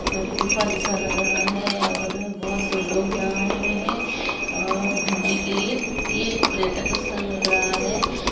यहाँ पे गुफा जैसा लग रहा है और बहोत से लोग यहाँ आए हुए है अ घूमने के लिए ये एक पर्यटक स्थल लग रहा है।